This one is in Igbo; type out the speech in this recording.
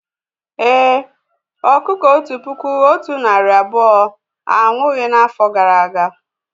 Èé, ọkụkọ otu puku otu narị abụọ anwụghị n'afọ gara aga